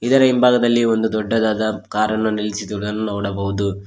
ಇದರ ಹಿಂಭಾಗದಲ್ಲಿ ಒಂದು ದೊಡ್ಡದಾದ ಕಾರನ್ನು ನಿಲ್ಲಿಸಿದುದನ್ನು ನೋಡಬಹುದು.